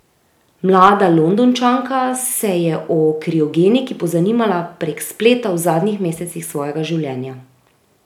Mlada Londončanka se je o kriogeniki pozanimala prek spleta v zadnjih mesecih svojega življenja.